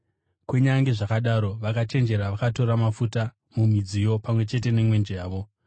Kunyange zvakadaro, vakachenjera vakatora mafuta mumidziyo pamwe chete nemwenje yavo.